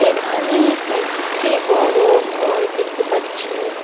এখানে একটি বড় ঘর দেখতে পাচ্ছি।